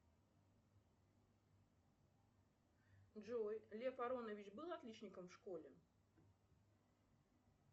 джой лев аронович был отличником в школе